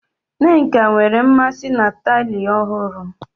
Nneka nwere mmasị na taịlị ọhụrụ.